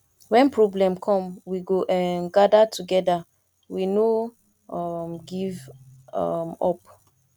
wen problem come we go um gada togeda we no um give um up